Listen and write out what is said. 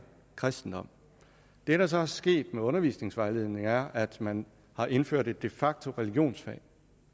kristendom det der så er sket med undervisningsvejledningen er at man har indført et de facto religionsfag